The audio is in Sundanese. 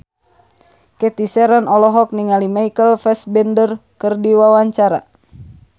Cathy Sharon olohok ningali Michael Fassbender keur diwawancara